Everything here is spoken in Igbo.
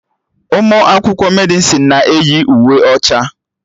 Ụmụ akwụkwọ Medịsịn na-eyi uwe ọcha